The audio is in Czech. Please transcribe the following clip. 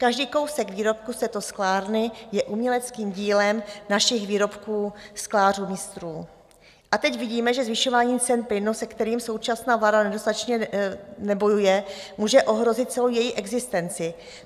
Každý kousek výrobku z této sklárny je uměleckým dílem našich výrobků sklářů mistrů a teď vidíme, že zvyšování cen plynu, se kterým současná vláda nedostatečně nebojuje, může ohrozit celou její existenci.